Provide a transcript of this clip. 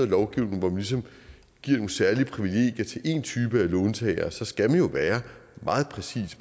lovgivning hvor man ligesom giver nogle særlige privilegier til én type låntagere så skal man jo være meget præcis